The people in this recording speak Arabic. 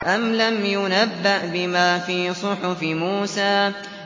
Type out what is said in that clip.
أَمْ لَمْ يُنَبَّأْ بِمَا فِي صُحُفِ مُوسَىٰ